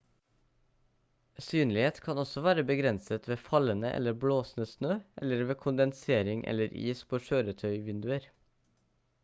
synlighet kan også være begrenset ved fallende eller blåsende snø eller ved kondensering eller is på kjøretøyvinduer